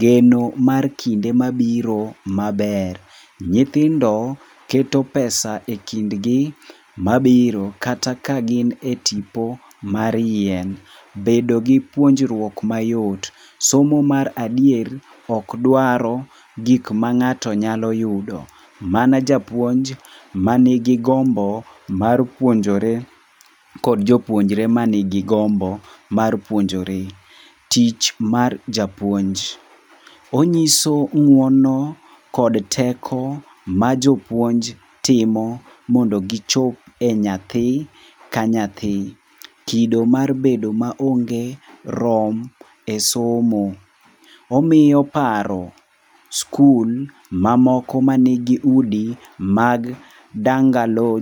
Geno mar kinde mabiro maber. Nyithindo keto pesa ekindgi mabiro kata ka gin e tipo mar yien. Bedo gi puonjruok mayot. Somo mar adier ok dwar gik ma ng'ato nyalo yudo. Mana japuonj manigigombo mar puonjore kod jopuonjre man gi gombo mar puonjore. Tich mar japuonj. Onyiso ng'uono kod teko ma jopuonj timo mondo gichop e nyathi ka nyathi. Kido mar bedo maonge rom e somo. Omiyo paro skul mamoko mani gi udi mag dangaloj